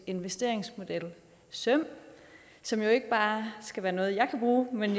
investeringsmodel søm som jo ikke bare skal være noget jeg kan bruge men